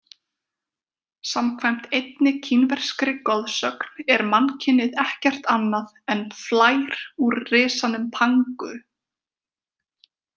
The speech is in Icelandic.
Samkvæmt einni kínverskri goðsögn er mannkynið ekkert annað en flær úr risanum Pangu.